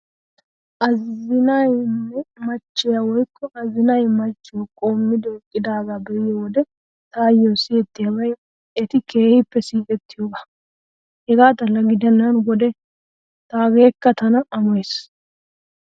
Azinaynne machchiya woykko azinay machchiyo qoommidi eqqiyaagaa be'iyo wode taayyo siyettiyaabay eti keehippe siiqettiyoogaa. Hegaa xalla gidennan wode taageekka tana amoyees.